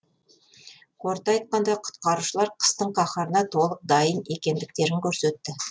қорыта айтқанда құтқарушылар қыстың қаһарына толық дайын екендіктерін көрсетті